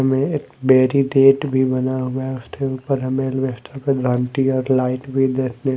में एक बैरी डेट भी बना हुआ है उसके उपर हमें लाइट भी देखने--